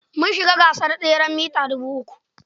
Mun shiga gasar teseren mita dubu uku.